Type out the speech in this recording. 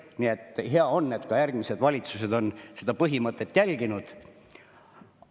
Nii et hea on, et ka järgmised valitsused on seda põhimõtet järginud.